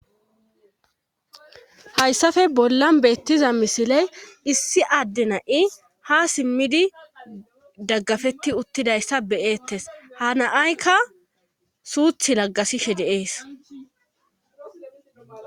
Hayssafe bollan beettiza misiley issi adde na7i ha simmidi daggafetti uttidayssa beyeettes hanaaykka suuth laggasishe de7ees.